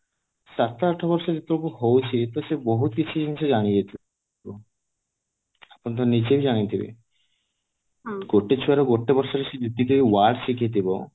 ସାତ ଆଠ ବର୍ଷ ଯେତେବେଳକୁ ହଉଛି ସେ ବହୁତ କିଛି ଜିନିଷ ଜାଣି ଯାଇଥିବ ଆପଣ ତ ନିଜେ ବି ଜାଣିଥିବେ ଅଟେ ଛୁଆ ଗୋଟେ ବର୍ଷରେ ସେ ଯେତିକି word ଶିଖିଥିବ